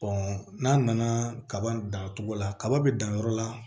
n'a nana kaba dan cogo la kaba be dan yɔrɔ la